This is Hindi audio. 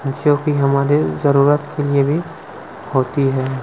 जोकि हमारे जरूरत के लिए भी होती हैं।